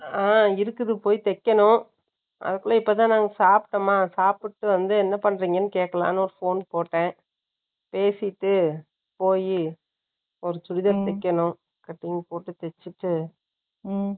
ஆங், இருக்குது, போய் தைக்கணும். அதுக்குள்ள, இப்பதான், நாங்க சாப்பிட்டோமா? சாப்பிட்டு வந்து, என்ன பண்றீங்கன்னு, கேட்கலான்னு, ஒரு phone போட்டேன். பேசிட்டு, போயி ஒரு நிக்கணும். Cutting போட்டு தேச்சுட்டு